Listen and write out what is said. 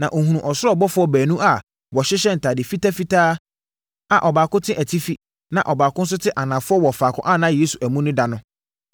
na ɔhunuu ɔsoro abɔfoɔ baanu a wɔhyehyɛ ntadeɛ fitafitaa a ɔbaako te atifi na ɔbaako nso te anafoɔ wɔ faako a na Yesu amu no da no.